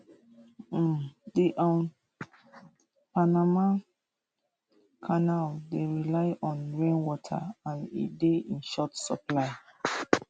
um di um panama canal dey rely on rainwater and e dey in short supply